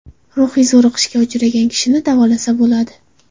Ruhiy zo‘riqishga uchragan kishini davolasa bo‘ladi.